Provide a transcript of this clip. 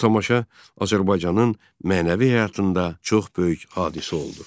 Bu tamaşa Azərbaycanın mənəvi həyatında çox böyük hadisə oldu.